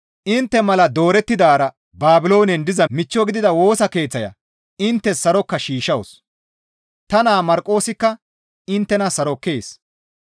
Intte mala doorettidaara Baabiloonen diza michcho gidida Woosa Keeththaya inttes saroka shiishshawus. Ta naa Marqoosikka inttena sarokkees.